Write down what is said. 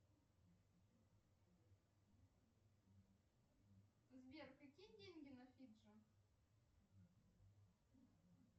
сбер какие деньги на фиджи